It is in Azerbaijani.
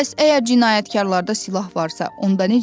Bəs əgər cinayətkarlarda silah varsa, onda necə?